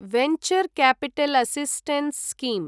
venture capital assistance scheme